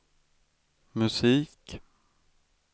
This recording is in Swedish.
musik